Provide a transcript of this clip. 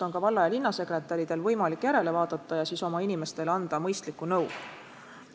Valla- ja linnasekretäridel on siis võimalik sealt järele vaadata ja oma inimestele mõistlikku nõu anda.